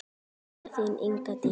Kveðja, þín, Inga Dís.